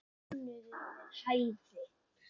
Mánuður við hæfi.